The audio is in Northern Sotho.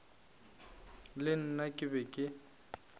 le nna ke be ke